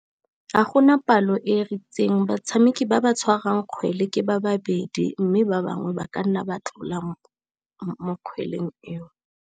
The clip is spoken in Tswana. Ga gona palo e ritseng batshameki ba ba tshwarang kgwele ke ba babedi, mme ba bangwe ba ka nna ba tlola mo kgweleng eo.